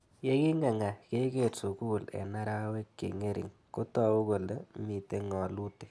Ye king'ang'a keker sukul eng' arawek che ng'ering' kotau kole mito ng'alutik